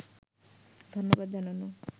ধন্যবাদ জানানো